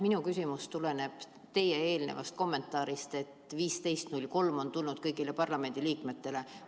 Minu küsimus tuleneb teie eelnevast kommentaarist, et 15.03 on tulnud kõigile parlamendiliikmetele.